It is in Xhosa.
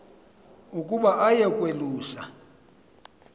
ukuba aye kwalusa